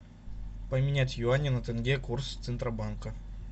поменять юани на тенге курс центробанка